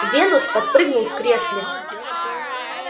венус подпрыгнул в кресле